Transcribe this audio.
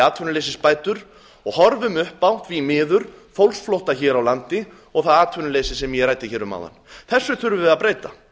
atvinnuleysisbætur og horfum því miður upp á fólksflótta hér á landi og það atvinnuleysi sem ég ræddi um áðan þessu þurfum við að breyta